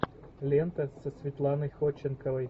лента со светланой ходченковой